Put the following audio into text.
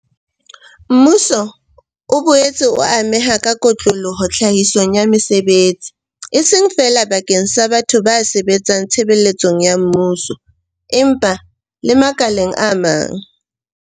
Mmuso o boetse o ameha ka kotloloho tlhahisong ya mesebetsi, e seng feela bakeng sa batho ba sebetsang tshebeletsong ya mmuso, empa le makaleng a mang.